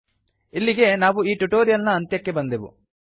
ಇಲ್ಲಿಗೆ ನಾವು ಈ ಟ್ಯುಟೋರಿಯಲ್ ನ ಅಂತ್ಯಕ್ಕೆ ಬಂದೆವು